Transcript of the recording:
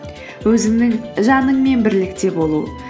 өзіңнің жаныңмен бірлікте болу